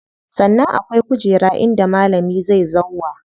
Sannan akwai kujera inda malami zai zauwa.